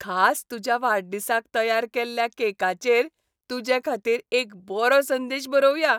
खास तुज्या वाडदिसाक तयार केल्ल्या केकाचेर तुजेखातीर एक बरो संदेश बरोवया.